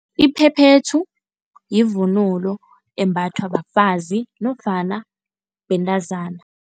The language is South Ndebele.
Iphephethu yivunulo embathwa bafazi nofana bentazana.